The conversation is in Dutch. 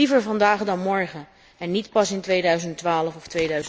Liever vandaag dan morgen en niet pas in 2012 of